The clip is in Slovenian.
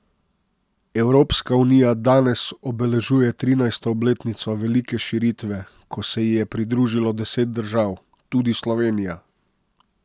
Evropska unija danes obeležuje trinajsto obletnico velike širitve, ko se ji je pridružilo deset držav, tudi Slovenija.